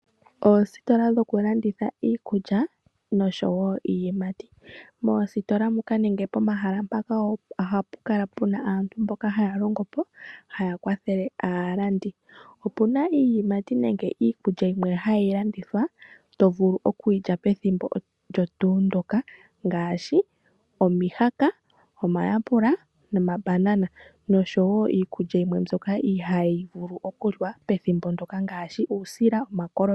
Oositola dhokulanditha iikulya, nosho wo iiyimati. Moositola muka nenge pomahala mpaka ohapu kala pu na aantu mboka haa longo po, haya kwathele aalandi. Opu na iiyimati nenge iikulya yimwe hayi landithwa, to vulu oku yi lya pethimbo olyo tuu ndyoka ngaashi omihaka, omayapula nomambanana, nosho wo iikulya yimwe mboka ihaayi vulu okuliwa pethimbo mpoka ngaashi uusila nomakoloni.